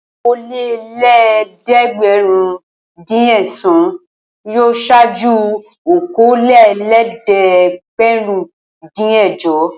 Okòólélẹ́ẹ̀dẹ́gbẹ̀rúndínẹ̀sán yóò ṣáájú okòólélẹ́ẹ̀dẹ́gbẹ̀rúndínẹ̀jọ.